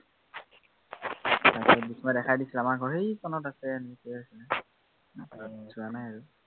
তাৰপিছত বিস্ময়ে দেখাই দিছে, আমাৰ ঘৰ সেই কোনত আছে, এনেকে আছে, তাৰ তাত যোৱা নাই আৰু